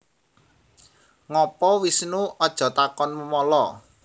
Ngopo Wisnu Aja takon memala